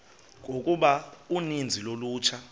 yokuba uninzi lolutsha